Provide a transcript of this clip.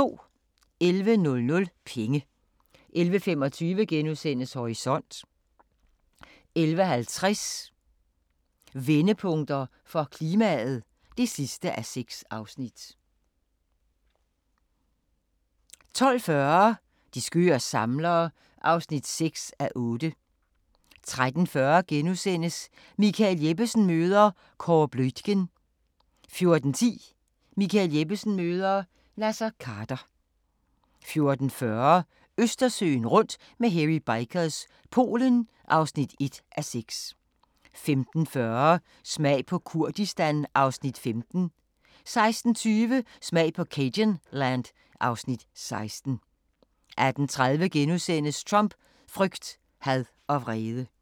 11:00: Penge 11:25: Horisont * 11:50: Vendepunkter for klimaet (6:6) 12:40: De skøre samlere (6:8) 13:40: Michael Jeppesen møder ... Kåre Bluitgen * 14:10: Michael Jeppesen møder ... Naser Khader 14:40: Østersøen rundt med Hairy Bikers – Polen (1:6) 15:40: Smag på Kurdistan (Afs. 15) 16:20: Smag på cajunland (Afs. 16) 18:30: Trump: frygt, had og vrede *